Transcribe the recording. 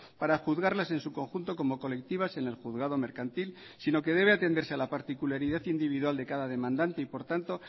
para juzgarlas en su conjunto como colectivas en el juzgado mercantil sino que debe atenderse a la particularidad individual de cada demandante y por tanto